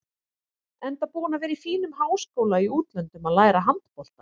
Enda búinn að vera í fínum háskóla í útlöndum að læra handbolta.